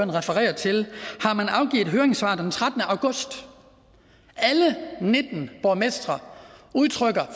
refererer til har afgivet høringssvar den trettende august alle nitten borgmestre udtrykker